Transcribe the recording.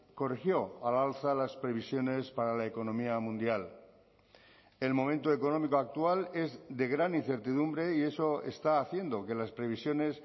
corrigió al alza las previsiones para la economía mundial el momento económico actual es de gran incertidumbre y eso está haciendo que las previsiones